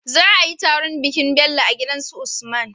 Za ayi taron bikin Bello a gidan su usman